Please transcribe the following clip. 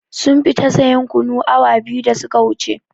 Sun fita sayan kunu awa biyu da su ka wuce